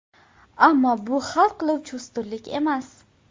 Ammo bu hal qiluvchi ustunlik emas.